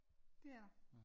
Det er der